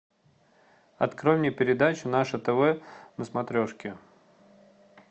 открой мне передачу наше тв на смотрешке